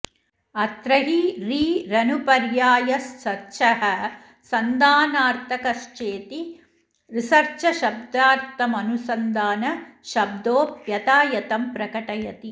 अत्र हि रि रनुपर्यायः सर्चः सन्धानार्थकश्चेति रिसर्चशब्दार्थमनुसन्धानशब्दो यथायथं प्रकटयति